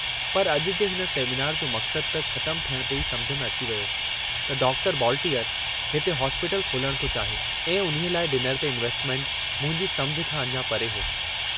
पर अजु जे हिन सेमीनार जो मकसदु त ख़तमु थियण ते ई समुझ में अची वियो त डॉक्टर बॉलटीअर हिते हॉस्पीटल खोलणु थो चाहे ऐं उन्हीअ लाइ डिनर ते इन्वेस्टमेंट मुंहिंजी समुझ खां अञा परे हो।